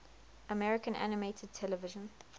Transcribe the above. american animated television